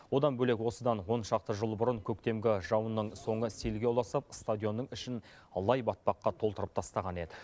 одан бөлек осыдан он шақты жыл бұрын көктемгі жауынның соңы селге ұласып стадионның ішін лай батпаққа толтырып тастаған еді